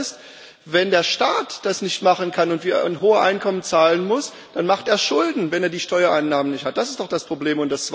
Das zweite ist Wenn der Staat das nicht machen kann und hohe Einkommen zahlen muss, dann macht er Schulden, wenn er die Steuereinnahmen nicht hat das ist doch das Problem.